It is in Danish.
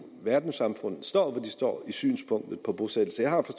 verdenssamfundet står hvor de står i synspunktet på bosættelser jeg har